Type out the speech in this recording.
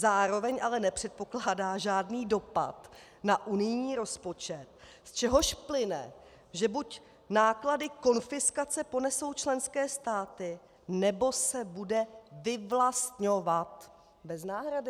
Zároveň ale nepředpokládá žádný dopad na unijní rozpočet, z čehož plyne, že buď náklady konfiskace ponesou členské státy, nebo se bude vyvlastňovat bez náhrady.